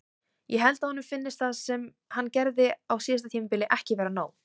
Ég held að honum finnist það sem hann gerði á síðasta tímabili ekki vera nóg.